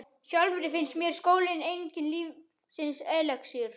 Sjálfri finnst mér skóli enginn lífsins elexír.